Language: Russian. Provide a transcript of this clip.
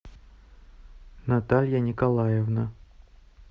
наталья николаевна